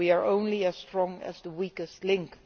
We are only as strong as the weakest link.